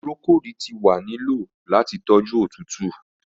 Procold ti wa ni lo lati toju otutu.